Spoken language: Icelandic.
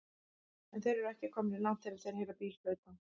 En þeir eru ekki komnir langt þegar þeir heyra bíl flauta.